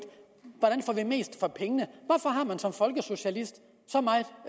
hvordan mest for pengene hvorfor har man som folkesocialist så meget